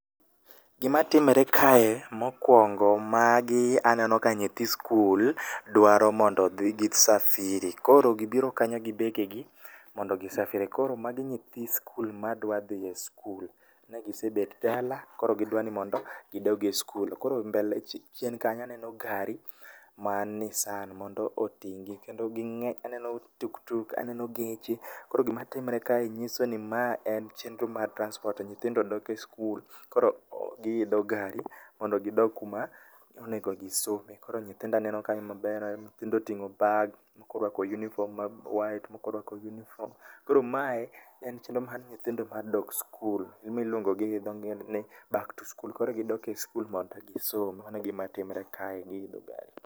Gima timore kae mokwongo, magi aneno ka nyithi sikul dwaro mondo odhi gi safiri. Koro gibiro kanyo gi begegi ,mondo gi safiri. Koro magi nyithi sikul madwa dhi e sikul. Ne gisebet dala koro gidwaro ni mondo gidog e sikul. Koro chien kacha aneno gari mar Nissan mondo oting'gi, kendo ging'eny, aneno tuktuk aneno geche. Koro gima timore kae nyiso ni ma en chienro mar transport to nyithindo dok e sikul. Koro giidho gari mondo gidog kuma onengo gisome. Koro nyithindo aneno kanyo maber, aneno nyithindo oting'o bag, moko oruako uniform ma white , moko orwako uniform, koro mae ,en chienro mar nyithindo mar dok sikul e momiyo iluongogi gi dho ngere ni back to school. Koro gidok e sikul mondo gisom .Mano e gima timore kae.